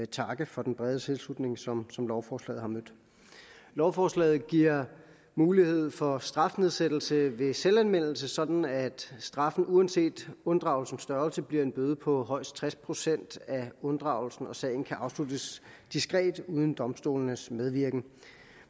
takke for den brede tilslutning som som lovforslaget har mødt lovforslaget giver mulighed for strafnedsættelse ved selvanmeldelse sådan at straffen uanset unddragelsens størrelse bliver en bøde på højst tres procent af unddragelsen og sagen kan afsluttes diskret uden domstolenes medvirken